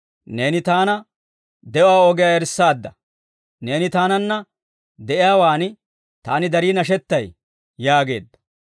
Neeni taana de'uwaa ogiyaa erissaadda. Neeni taananna de'iyaawaan, taani darii nashettay› yaageedda.